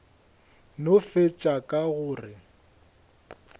no fetša ka go re